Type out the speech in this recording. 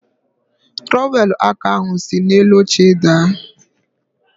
Trọwelụ aka ahụ siri n'elu oche daa.